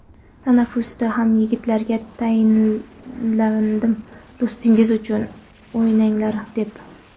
Tanaffusda ham yigitlarga tayinladim, do‘stingiz uchun o‘ynanglar deb.